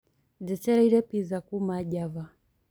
njitiria pizza kũma java